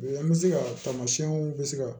An bɛ se ka tamasiɲɛw bɛ se ka